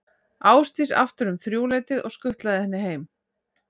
Ásdísi aftur um þrjúleytið og skutlað henni heim.